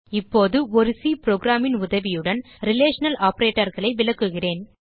இப்போது ஒரு சி programன் உதவியுடன் ரிலேஷனல் operatorகளை விளக்குகிறேன்